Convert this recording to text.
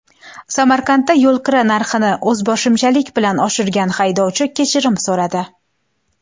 Samarqandda yo‘lkira narxini o‘zboshimchalik bilan oshirgan haydovchi kechirim so‘radi.